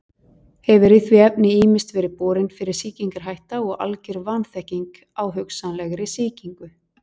Hefur í því efni ýmist verið borin fyrir sýkingarhætta eða algjör vanþekking á hugsanlegri sýkingu.